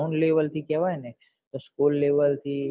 ground level જે કેવાય ને કે school level થી